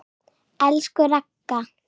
Elsku Ragga.